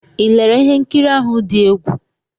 Ị lere ihe nkiri ahụ dị egwu?